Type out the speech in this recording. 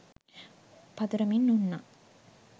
පතුරමින් උන්නා.